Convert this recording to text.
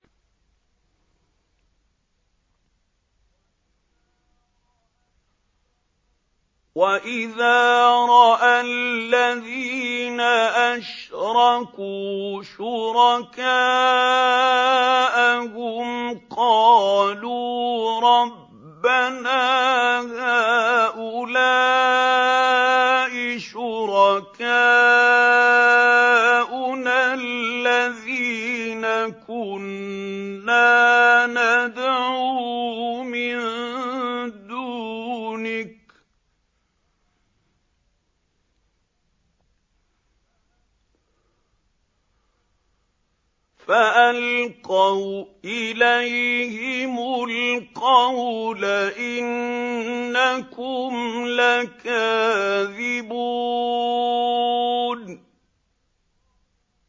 وَإِذَا رَأَى الَّذِينَ أَشْرَكُوا شُرَكَاءَهُمْ قَالُوا رَبَّنَا هَٰؤُلَاءِ شُرَكَاؤُنَا الَّذِينَ كُنَّا نَدْعُو مِن دُونِكَ ۖ فَأَلْقَوْا إِلَيْهِمُ الْقَوْلَ إِنَّكُمْ لَكَاذِبُونَ